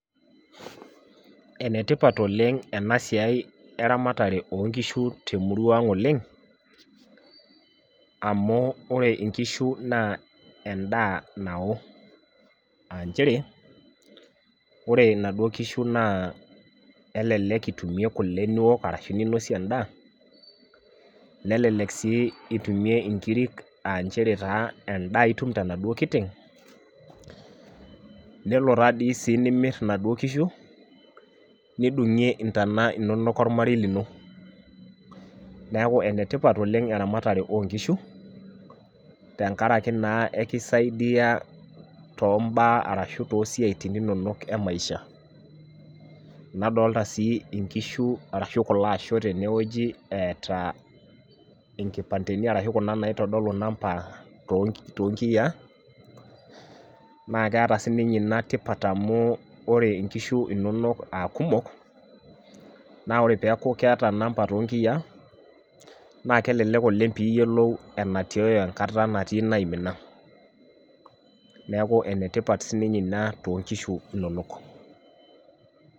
Enetipat oleng' ena siai eramatare oo nkishu temurua ang' oleng', amu ore nkishu naa endaa nao.aa nchere ore inaduoo kishu naa elelek itumie kule Niko arashu ninosie edaa, nelelek sii itumie nkirik, aa nchere taa edaa itum tenaduoo kiteng' .nelo taa sii dii nimor inaduoo kishu, nidungie intona inonok olmarei lino. neeku ene tipat oleng eramatare oo nkishu, te nkaraki naa ekisaidia too mbaya arashu too siatin inonok emaisha. nadoolta sii nkishu arashu kulo ashoo tene wueji eeta enkipandeni ashu Kuna naitodolu namba too nkiyiaa. naa keeta sii ninye Ina tipat amu ore nkishu inonok, aa kumok naa ore peeku keeta namba too nkiyiaa naa kelelek oleng pee iyiolou enatioyo enkata natii inaimina. neeku e etipat sii ninye Ina too nkishu inonok.